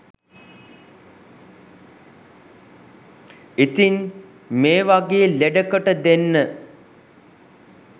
ඉතින් මේ වගේ ලෙඩකට දෙන්න